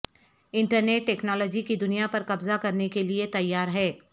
internet technology کی دنیا پر قبضہ کرنے کے لئے تیار ہے